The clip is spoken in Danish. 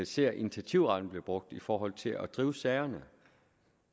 ser initiativretten blive brugt i forhold til at drive sagerne